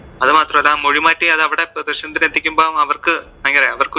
അത് മാത്രം അല്ല മൊഴിമാറ്റി അത് അവിടെ പ്രദർശനത്തിന് എത്തിക്കുമ്പോൾ അവർക്ക് ഭയങ്കര അവർക്ക് ഒരു